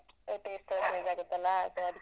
Taste ಎಲ್ಲ change ಆಗತ್ತಲ್ಲಾ ಮತ್ತೆ ಅದಕ್ಕೆ.